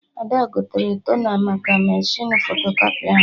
Ada gotere tona maka mechinu fotokọpị ahụ